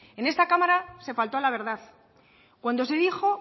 en esta cámara se faltó a la verdad cuando se dijo